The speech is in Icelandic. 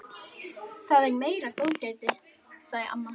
Þetta er meira góðgætið, sagði amma.